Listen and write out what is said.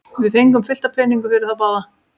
Við fengum fullt af peningum fyrir þá báða.